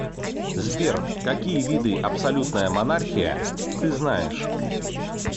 сбер какие виды абсолютная монархия ты знаешь